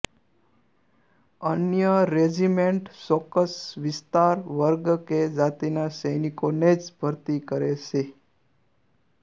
અન્ય રેજિમેન્ટ ચોક્કસ વિસ્તાર વર્ગ કે જાતિના સૈનિકોને જ ભરતી કરે છે